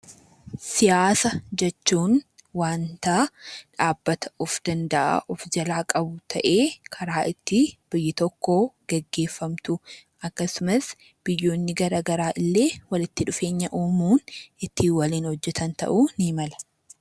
Siyaasa jechuun wanta dhaabbata of danda'aa of jalaa qabu ta'ee karaa itti biyyi tokko geggeeffamtu akkasumas biyyoonni gara garaa illee walitti dhufeenya uumuun ittiin waliin hojjetan ta'uu ni mala.